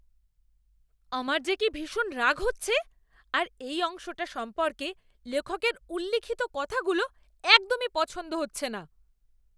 আমার যে কি ভীষণ রাগ হচ্ছে, আর এই অংশটা সম্পর্কে লেখকের উল্লিখিত কথাগুলো একদমই পছন্দ হচ্ছে না।